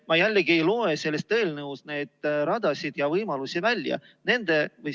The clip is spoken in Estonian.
Ma ei loe sellest eelnõust neid radasid ja muid võimalusi välja.